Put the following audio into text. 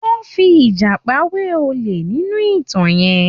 Wọ́n fi ìjàpá wé olè nínú ìtàn yẹn.